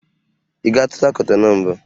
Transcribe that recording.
Ị gatụla Kotonu mbụ?